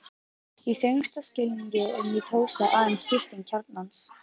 Í þrengsta skilningi er mítósa aðeins skipting kjarnans.